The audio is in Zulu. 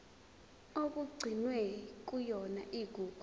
okugcinwe kuyona igugu